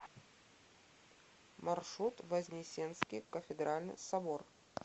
маршрут вознесенский кафедральный собор